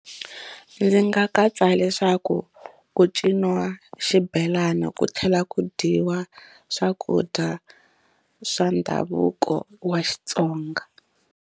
Ndzi nga katsa leswaku ku ciniwa xibelani ku tlhela ku dyiwa swakudya swa ndhavuko wa Xitsonga.